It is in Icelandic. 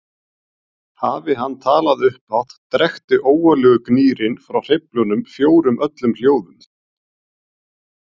Hafi hann talað upphátt drekkti ógurlegur gnýrinn frá hreyflunum fjórum öllum hljóðum.